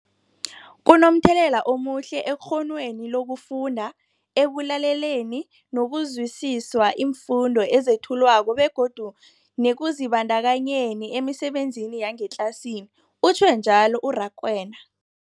Kunomthelela omuhle ekghonweni lokufunda, ekulaleleni nokuzwisiswa iimfundo ezethulwako begodu nekuzibandakanyeni emisebenzini yangetlasini, utjhwe njalo u-Rakwena.